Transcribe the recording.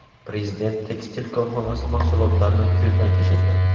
Prezident tekstil korxonasi mahsulotlarini ko‘zdan kechirdi.